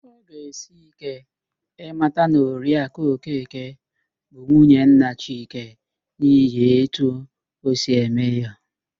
Ọ ga-esi íké ịmata na Oriakụ Okeke bụ nwunye nna Chike n'ihi etu o si eme ya